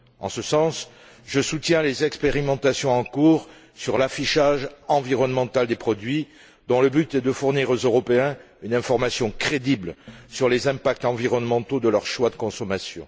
En ce sens, je soutiens les expérimentations en cours sur l'affichage environnemental des produits, dont le but est de fournir aux Européens une information crédible sur les impacts environnementaux de leur choix de consommation.